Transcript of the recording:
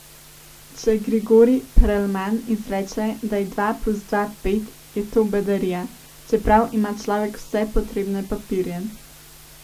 Če Grigori Perelman izreče, da je dva plus dva pet, je to bedarija, čeprav ima človek vse potrebne papirje.